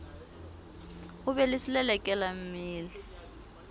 ho be le selelekela mmele